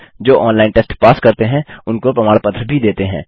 जो online test pass करते हैं उनको प्रमाण पत्र भी देते हैं